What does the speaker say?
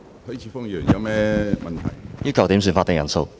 我要求點算法定人數。